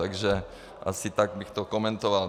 Takže asi tak bych to komentoval.